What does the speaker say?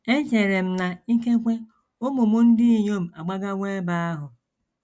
Echere m na na ikekwe ụmụ m ndị inyom agbagawo ebe ahụ.